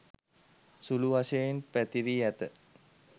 සුළු වශයෙන් පැතිරී ඇත.